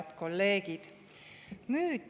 Head kolleegid!